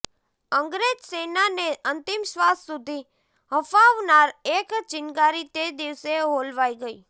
અંગ્રેજ સેનાને અંતિમ શ્ર્વાસ સુધી હંફાવનાર એક ચિનગારી તે દિવસે હોલવાઈ ગઈ